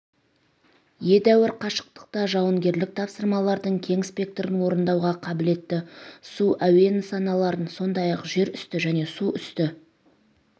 едәуір қашықтықта жауынгерлік тапсырмалардың кең спектрін орындауға қабілетті су әуе нысаналарын сондай-ақ жерүсті және суүсті